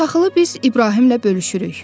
Taxılı biz İbrahimlə bölüşürük.